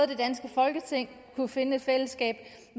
det danske folketing kunne finde et fællesskab